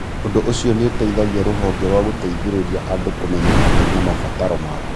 Ũndũ ũcio nĩ ũteithagia rũhonge rwa gũteithĩrĩria andũ kũmenya mathĩna na mabataro mao.